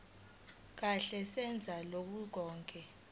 kahle neze kulokho